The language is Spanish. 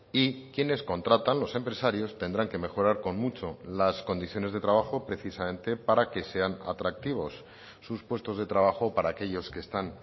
y quienes contratan los empresarios tendrán que mejorar con mucho las condiciones de trabajo precisamente para que sean atractivos sus puestos de trabajo para aquellos que están